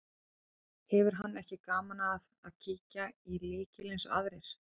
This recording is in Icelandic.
Hefur hann ekki gaman af að kíkja í lykil eins og aðrir.